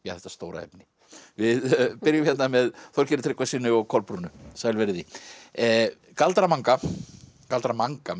þetta stóra efni við byrjum hérna með Þorgeiri Tryggvasyni og Kolbrúnu sæl verið þið galdra manga galdra manga